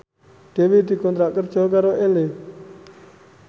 Dewi dikontrak kerja karo Elle